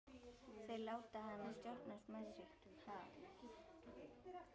Þeir láta hana stjórnast með sig.